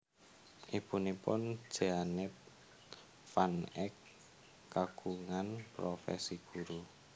Ibunipun Jeannette van Eek kagungan profesi guru